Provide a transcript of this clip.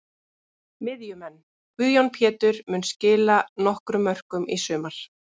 Miðjumenn: Guðjón Pétur mun skila nokkrum mörkum í sumar.